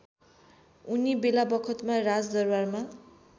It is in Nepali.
उनी बेलाबखतमा राजदरबारमा